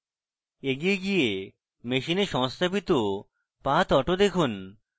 এগিয়ে গিয়ে machine সংস্থাপিত pathauto দেখুন